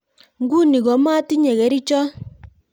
Ngunii ko matinyee kerichoot